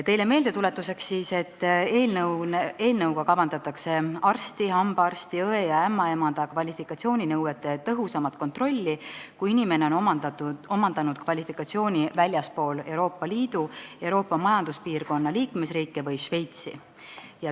Teile meeldetuletuseks ütlen, et eelnõuga kavandatakse arsti, hambaarsti, õe ja ämmaemanda kvalifikatsiooninõuete tõhusamat kontrolli, kui inimene on omandanud kvalifikatsiooni väljaspool Euroopa Liidu või Euroopa Majanduspiirkonna liikmesriike või Šveitsi.